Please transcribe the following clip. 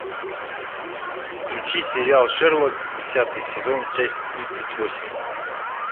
включи сериал шерлок десятый сезон часть тридцать восемь